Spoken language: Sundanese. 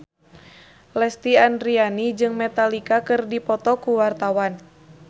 Lesti Andryani jeung Metallica keur dipoto ku wartawan